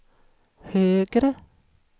högre